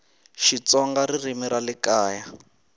xitsonga ririmi ra le kaya